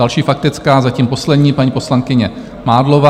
Další faktická, zatím poslední, paní poslankyně Mádlová.